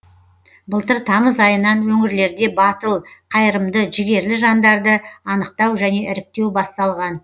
былтыр тамыз айынан өңірлерде батыл қайырымды жігерлі жандарды анықтау және іріктеу басталған